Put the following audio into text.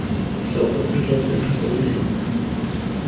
south african centre for missing